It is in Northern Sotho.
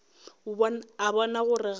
a bona gore ga go